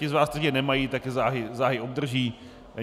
Ti z vás, kteří je nemají, tak je záhy obdrží.